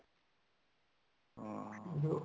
ਹਾਂ